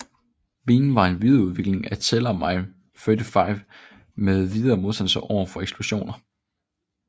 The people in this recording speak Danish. Minen var en videreudvikling af Tellermine 35 med forbedret modstandsevne overfor eksplosioner